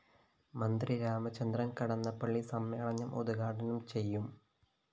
മന്ത്രി രാമചന്ദ്രന്‍ കടന്നപ്പളളി സമ്മേളനം ഉദ്ഘാടനം ചെയ്യും എം